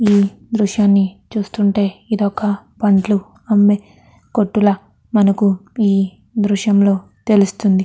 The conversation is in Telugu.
ఈ దృశ్యాన్ని చూస్తుంటే ఇదొక పండ్లు అమ్మే కొట్టు లా మనకు ఈ దృశ్యంలో తెలుస్తుంది.